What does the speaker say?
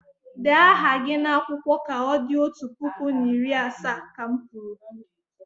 Dee aha gị n'akwụkwọ ka o di otu puku na iri asaa, ka m kwuru!